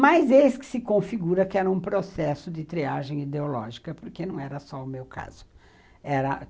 Mas eis que se configura que era um processo de triagem ideológica, porque não era só o meu caso. Era